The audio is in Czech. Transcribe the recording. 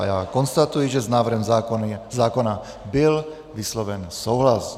A já konstatuji, že s návrhem zákona byl vysloven souhlas.